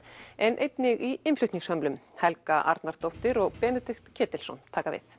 en einnig í innflutningshömlum Helga Arnardóttir og Benedikt Ketilsson taka við